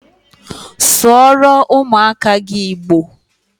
Sụọrọ ụmụaka gị Igbo!